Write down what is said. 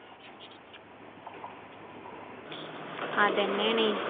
അത് തന്നെയാണേ